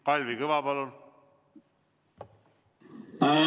Kalvi Kõva, palun!